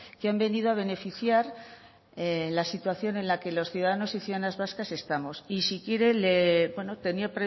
que han venido a beneficiar la situación en la que los ciudadanos y ciudadanas vascas estamos y si quiere bueno tenía